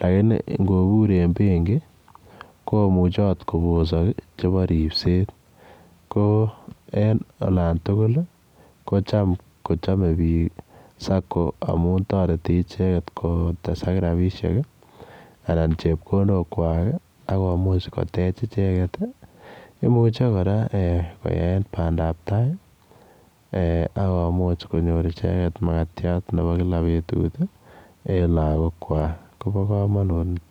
lakini ngobur en benki komuche akot kobosok chebo ripset. Ko en olan tugul ko cham kochamei biik sacco amun toreti icheket kotes ak rapishek anan chepkondokwai. Akomuch kotech icheket. Imuche kora koyae pandabtai akomuch konyor icheket makatiat mebo kila betut en lagokwai. kobo komanut nitok.